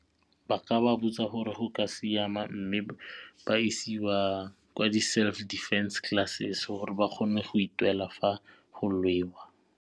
Ba ka ba botsa gore go ka siama mme ba isiwa kwa di-self defence classes gore ba kgone go itwela fa go lwewa.